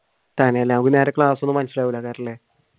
തന്നെയല്ലേ